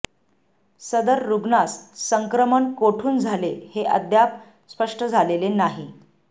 सदर रुग्णास संक्रमण कोठून झाले हे अद्याप स्पष्ट झालेले नाही